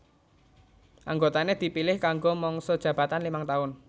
Anggotané dipilih kanggo mangsa jabatan limang taun